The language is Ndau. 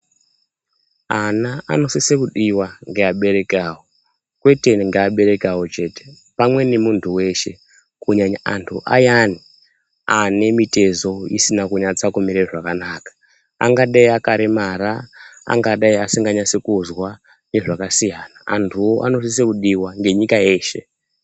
Ana anosise kudiwa ngeabereki awo, kwete ngeabereki awo chete pamwe nemuntu weshe kunyanya antu ayani ane mitezo isina kunyatsa kumire zvakanaka, angadai akaremara, angadai asinganyasi kuzwa nezvakasiyana. Antuwo anosise kudiwa ngenyika yeshe.